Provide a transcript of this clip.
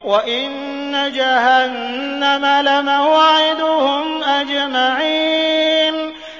وَإِنَّ جَهَنَّمَ لَمَوْعِدُهُمْ أَجْمَعِينَ